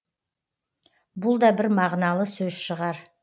бұл да бір мағыналы сөз шығар